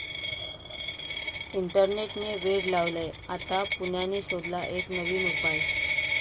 इंटरनेट'ने वेड लावलंय? आता पुण्याने शोधला एक नवीन उपाय